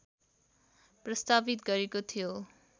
प्रस्तावित गरेको थियो